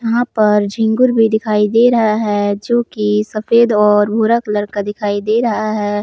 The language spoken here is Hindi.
यहां पर झींगुर भी दिखाई दे रहा है जो कि सफेद और भूरा कलर का दिखाई दे रहा है।